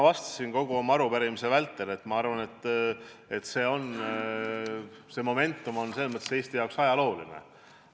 Nagu ma kogu arupärimise vältel vastasin, arvan ma, et see momentum on Eesti jaoks ajalooline.